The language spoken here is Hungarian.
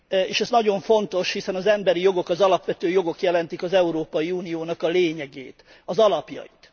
És ez nagyon fontos, hiszen az emberi jogok, az alapvető jogok jelentik az Európai Uniónak a lényegét, az alapjait.